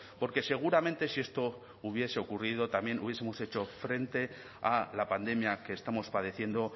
porque seguramente si esto hubiese ocurrido también hubiesemos hecho frente a la pandemia que estamos padeciendo